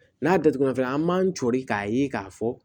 N'a datugulan fɛnɛ an b'an cori k'a ye k'a fɔ